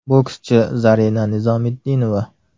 Bokschi Zarina Nizomitdinova.